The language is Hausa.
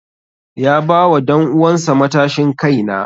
Ya ba wa danuwan sa matashin kai na.